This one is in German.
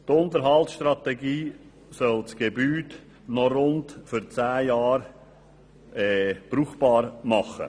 Die Unterhaltsstrategie soll das Gebäude für noch rund zehn Jahre brauchbar machen.